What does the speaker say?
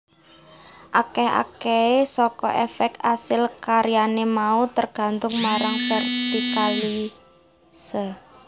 Akeh akehe saka efek asil karyane mau tergantung marang vertikalitase